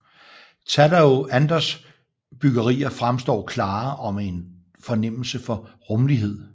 Tadao Andos bygerier fremstår klare og med en fornemmelse for rumlighed